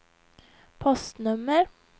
postnummer